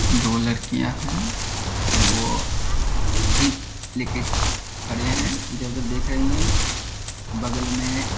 दो लड़कियां है वो दीप लेके खड़े हैं। इधर-उधर देख रहीं हैं। बगल में --